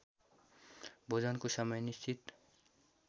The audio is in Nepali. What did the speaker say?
भोजनको समय निश्चित